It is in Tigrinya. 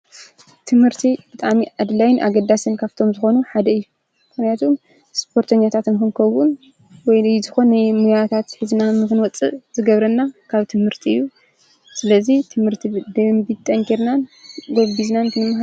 ትምህርቲ ብጣዕሚ ኣድላይን ኣገዳስን ካብቶም ዝኮኑ ሓደ እዩ። ምክንያቱ ስፖርተኛታት ንክንከዉን ወይ ዝኮነ ሞያታት ሒዝና ንክንወፅእ ዝገብረና ካብ ትምህርቲ እዩ። ስለዚ ትምህርቲ ብደንቢ ጠንኪርና ጎቢዝናን ክንመሃር።